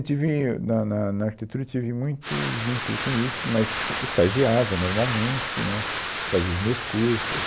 Eu tive, na na na arquitetura eu tive muito vínculo com isso, mas fa, estagiava normalmente, né, fazia os meus cursos.